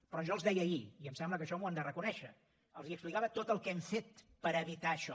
però jo els deia ahir i em sembla que això m’ho han de reconèixer els explicava tot el que hem fet per evitar això